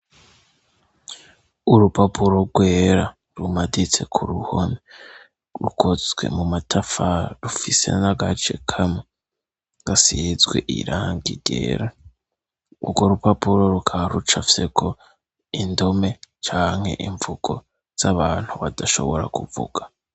Urupapuro rwera rumaditse ku ruhone rukozwe mu matafa rufise nagace kame gasizwe iranga igera urwo rupapuro rukaruca fyeko indome canke imvugo z'abantu badashobora kuvuga.